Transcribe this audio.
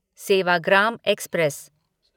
Sevagram express